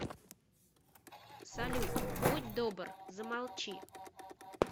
салют будь добр замолчи